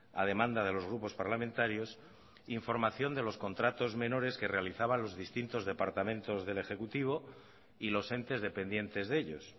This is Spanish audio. a demanda de los grupos parlamentarios información de los contratos menores que realizaban los distintos departamentos del ejecutivo y los entes dependientes de ellos